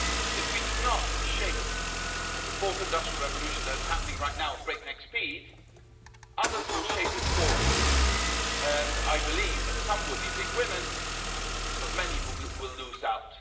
If we do not shape the fourth industrial revolution that is happening right now at breakneck speed, others will shape it for us and I believe that some will be big winners, but many will lose out.